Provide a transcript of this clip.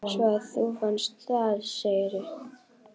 Svo að þú fannst það, segirðu?